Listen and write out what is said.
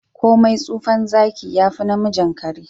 komai tsufan Zaki yafi namijin kare.